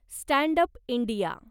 stand up India